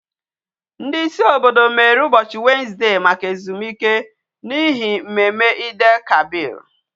Ndi isi obodo mere ubochi Wednesday Maka izuike, n'ihi mmemme Eid El kabir